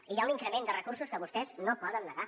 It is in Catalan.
i hi ha un increment de recursos que vostès no poden negar